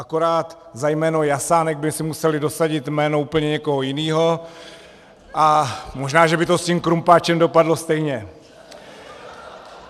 Akorát za jméno Jasánek by si museli dosadit jméno úplně někoho jiného a možná, že by to s tím krumpáčem dopadlo stejně.